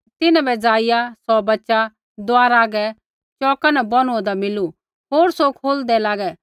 तिन्हां बै जाईया सौ बच्च़ा दुआरा हागै चौका न बोनुआन्दा मिलू होर सौ खोलदै लागै